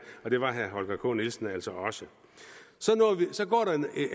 og det var herre holger k nielsen altså også så går der